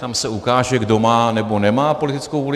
Tam se ukáže, kdo má, nebo nemá politickou vůli.